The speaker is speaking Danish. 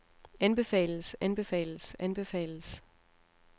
anbefales anbefales anbefales